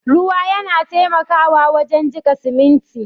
Ruwa yana taimakawa wajen jika siminti.